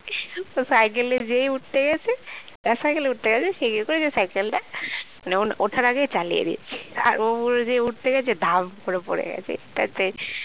তো cycle এ যেই উঠতে গেছে যার cycle এ উঠতে গেছে সে কি করেছে cycle টা মানে ওঠার আগেই চালিয়ে দিয়েছে আর পুরো যেই উঠতে গেছে ধাপ করে পড়ে গেছে